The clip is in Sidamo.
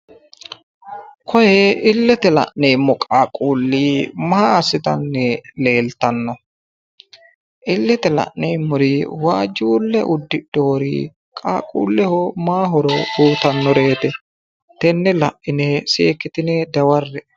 Koye illete la'neemmo qaaqquulli maa assitanni leeltanno? illete la'neemmori waajjuulle uddidheewori qaaqquulleho maa horo uyiitannoreeti? Tenne la'ine seekkitine dawarre"e.